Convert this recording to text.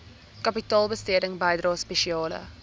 kapitaalbesteding bydrae spesiale